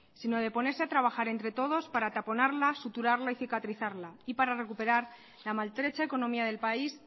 sino de ponerse a trabajar entre todos para taponarla suturarla y cicatrizarla y para recuperar la maltrecha economía del país